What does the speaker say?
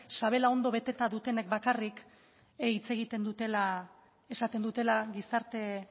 sabela ondo beteta dutenek bakarrik hitz egiten dutela esaten dutela gizarte